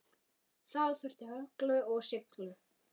Þá þurfti hörku og seiglu.